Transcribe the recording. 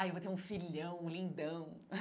Ah, eu vou ter um filhão lindão.